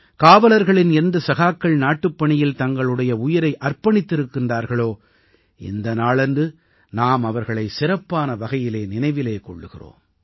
காவலர்களின் எந்த சகாக்கள் நாட்டுப் பணியில் தங்களுடைய உயிரை அர்ப்பணித்திருக்கிறார்களோ இந்த நாளன்று நாம் அவர்களை சிறப்பான வகையிலே நினைவில் கொள்கிறோம்